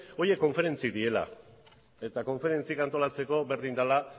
horiek konferentzia direla eta konferentziak antolatzeko berdin dela